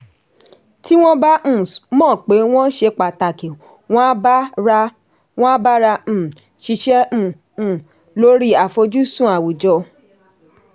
tí wọ́n bá um mọ̀ pé wọ́n ṣe pàtàkì wọn á bára um ṣiṣẹ́ um um lórí àfojúsùn àwùjọ.